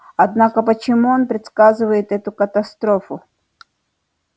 однако почему он предсказывает эту катастрофу